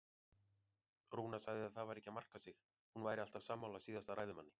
Rúna sagði að það væri ekki að marka sig, hún væri alltaf sammála síðasta ræðumanni.